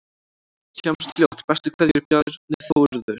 Sjáumst fljótt, bestu kveðjur: Bjarni Þórður